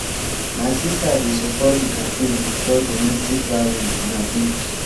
my sista dey support di campaign to stop domestic violence and abuse.